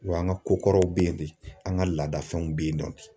Wa an ka kokɔrɔw bɛ yen de an ka laadafɛnw bɛ yen nɔ